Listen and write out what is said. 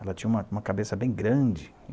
Ela tinha uma uma cabeça bem grande.